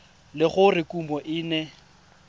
le gore kumo e ne